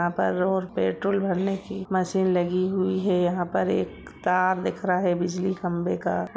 यहां पर road petrol भरने की मशीन लगी हुई है यहां पर एक तार दिख रहा है बिजली खंभे का।